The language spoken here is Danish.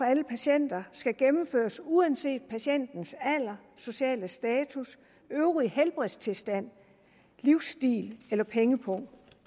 alle patienter skal gennemføres uanset patientens alder sociale status øvrige helbredstilstand livsstil eller pengepung